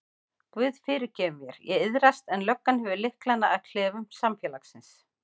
Guð fyrirgefur mér, ég iðrast en löggan hefur lyklana að klefum samfélagsins.